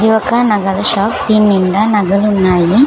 ఇది ఒక నగల షాప్ దీన్నిండా నగలున్నాయి.